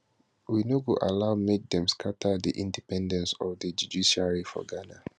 we no go allow make dem scatter di independence of di judiciary for ghana